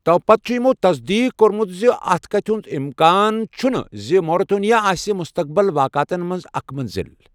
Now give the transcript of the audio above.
تۄپتہٕ چھُ یِمَو تصدیٖق کٔرمٕژ زِ اَتھ کَتھِ ہِنٛز امکان چھِنہٕ زِ موریطانیہ آسہِ مستقبل واقعاتَن منٛز اکھ منزل۔